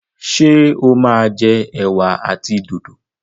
ṣe o ma jẹ ewa àti dòdo?